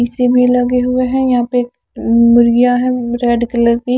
इसी में लगे हुए हैं यहां पे अं मुर्गियां है रेड कलर की।